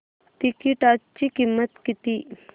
तिकीटाची किंमत किती